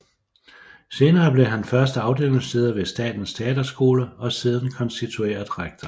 Senere blev han først afdelingsleder ved Statens Teaterskole og siden konstitueret rektor